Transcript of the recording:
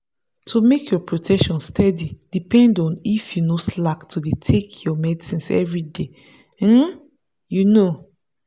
to make your protection steady depend on if you no slack to dey take your medicines everyday. um you know.